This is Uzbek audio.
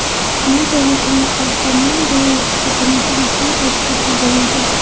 Bu davlatimiz rahbarining Belarusga birinchi rasmiy tashrifi bo‘ladi.